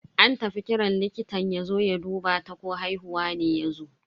An tafi kiran likitan yazo ya duba ta ko haihuwa ne yazo.